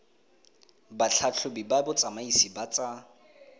batlhatlhobi ba botsamaisi ba tsa